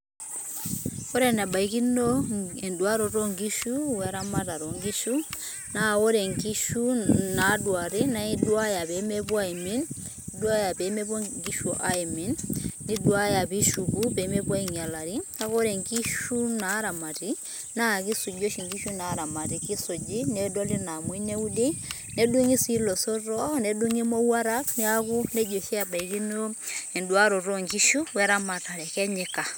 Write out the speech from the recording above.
Ore enebaikino eduaroto onkishu weramatare onkishu, naa ore nkishu naduari na iduaya pemepuo aimin, duaya pemepuo nkishu aimin. Niduaya pishuku pemepuo ainyalari. Neeku ore nkishu naramati, na kisuji oshi nkishu naramati. Ekisuji nedoli naamoi neudi, nedung'i si ilosotoo, nedung'i mowuarak, neeku nejia oshi ebaikino eduaroto onkishu weramatare, kenyika.